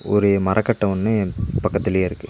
ஒரு மரக்கட்ட ஒன்னு பக்கத்துலயே இருக்கு.